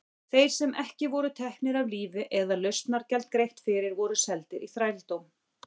Þeir sem ekki voru teknir af lífi eða lausnargjald greitt fyrir voru seldir í þrældóm.